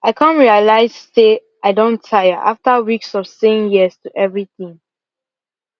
i come realize say i don tire after weeks of saying yes to everything